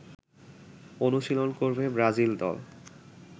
অনুশীলন করবে ব্রাজিল দল